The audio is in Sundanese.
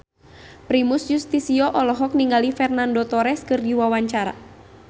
Primus Yustisio olohok ningali Fernando Torres keur diwawancara